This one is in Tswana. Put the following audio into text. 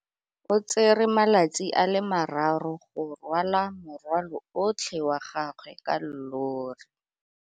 O tsere malatsi a le marraro go rwala morwalo otlhe wa gagwe ka llori.